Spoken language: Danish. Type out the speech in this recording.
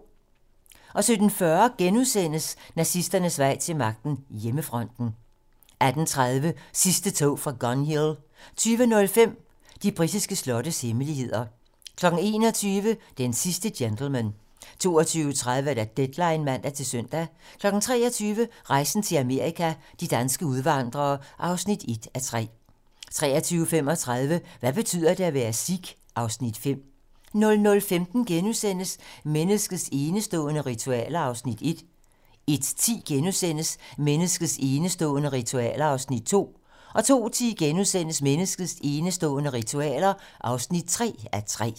17:40: Nazisternes vej til magten: Hjemmefronten * 18:30: Sidste tog fra Gun Hill 20:05: De britiske slottes hemmeligheder 21:00: Den sidste gentleman 22:30: Deadline (man-søn) 23:00: Rejsen til Amerika – de danske udvandrere (1:3) 23:35: Hvad betyder det at være: Sikh? (Afs. 5) 00:15: Menneskets enestående ritualer (1:3)* 01:10: Menneskets enestående ritualer (2:3)* 02:10: Menneskets enestående ritualer (3:3)*